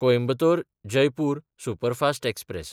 Coimbatore-Jaipur superfast express